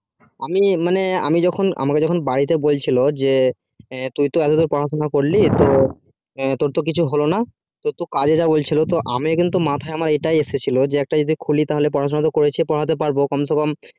মানে আমি যখন আমাকে যখন বাড়িতে বলছিলো যে তুই তো এত দূর পড়াশুনা করলি তো তোর তো কিছু হলো না তু কাজের জন্য বলছিলো আমি কিন্তু মাথায় আমার এটাই এসেছিলো একটা যদি খুলি তো পড়া শুনা করেছি তো পড়াতে পারবো কম সে কম